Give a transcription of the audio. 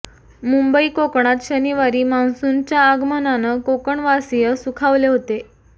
मुंबई कोकणात शनिवारी मान्सूनच्या आगमनानं कोकणवासीय सुखावले होते